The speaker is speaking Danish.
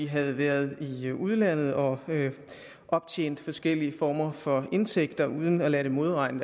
havde været i udlandet og optjent forskellige former for indtægter uden at lade det modregne